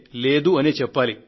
లేదు అనే చెప్పాలి